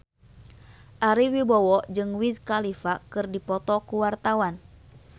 Ari Wibowo jeung Wiz Khalifa keur dipoto ku wartawan